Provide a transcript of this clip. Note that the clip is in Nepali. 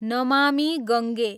नमामी गङ्गे